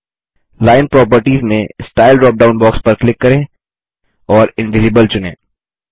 line properties में style drop down box पर click करें और इनविजिबल चुनें